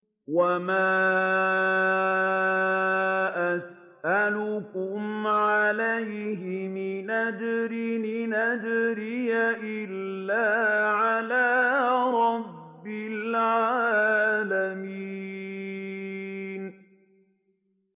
وَمَا أَسْأَلُكُمْ عَلَيْهِ مِنْ أَجْرٍ ۖ إِنْ أَجْرِيَ إِلَّا عَلَىٰ رَبِّ الْعَالَمِينَ